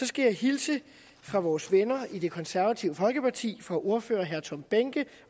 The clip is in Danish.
skal hilse fra vores venner i det konservative folkeparti fra ordfører herre tom behnke